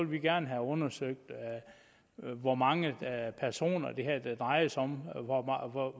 vi gerne have undersøgt hvor mange personer det drejer sig om